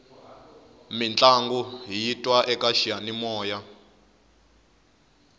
mintlangu hiyi twa eka xiyanimoya